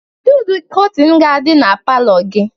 Kedu ụdị kọtịn ga-adị na palọ gị?